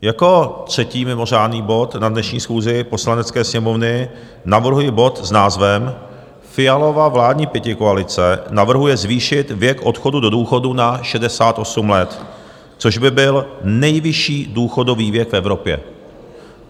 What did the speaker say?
Jako třetí mimořádný bod na dnešní schůzi Poslanecké sněmovny navrhuji bod s názvem Fialova vládní pětikoalice navrhuje zvýšit věk odchodu do důchodu na 68 let, což by byl nejvyšší důchodový věk v Evropě.